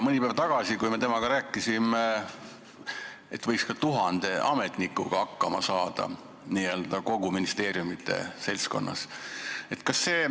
Mõni päev tagasi, kui me temaga rääkisime, ütles ta, et võiks ka tuhande ametnikuga hakkama saada kogu ministeeriumite seltskonnas.